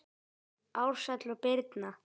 Ársæll og Birna.